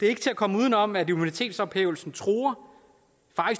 er til at komme uden om at immunitetsophævelsen faktisk truer